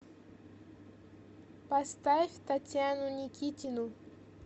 поставь татьяну никитину